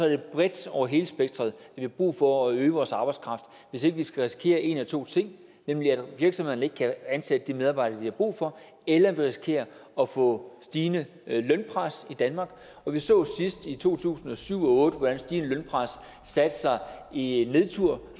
det bredt over hele spektret vi har brug for at øge vores arbejdskraft hvis ikke vi skal risikere en af to ting nemlig at virksomhederne ikke kan ansætte de medarbejdere de har brug for eller at vi risikerer at få stigende lønpres i danmark og vi så sidst i to tusind og syv og otte hvordan stigende lønpres satte sig i en nedtur